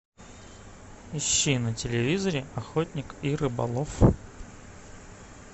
ищи на телевизоре охотник и рыболов